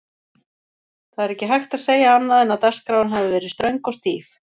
Það er ekki hægt að segja annað en að dagskráin hafi verið ströng og stíf.